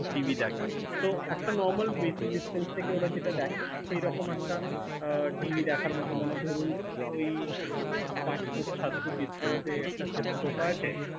TV দেখা। তো একটা normarl basic distance থেকে ওঁরা যেটা দেখে, সেই রকম একটা TV দেখার মতো মানে ধরুন ঐ পাঁচ ফুট সাত ফুট distance এ একটা sofa আছে।